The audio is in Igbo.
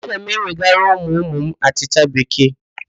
Aga m ewegara ụmụụmụ m achịcha Bekee